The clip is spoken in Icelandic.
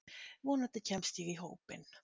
Vonandi kemst ég í hópinn.